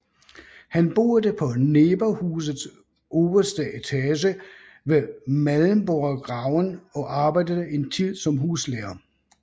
Han boede på Neberhusets overste etage ved Mellemborggraven og arbejdede en tid som huslærer